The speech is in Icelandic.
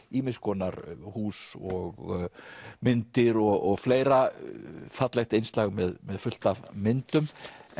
ýmis konar hús og myndir og fleira fallegt innslag með með fullt af myndum